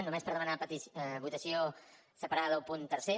només per demanar votació separada del punt tercer